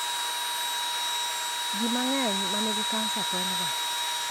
Ji mangeny ma nigi cancer tonyga